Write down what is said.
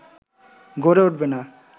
গড়ে উঠবে না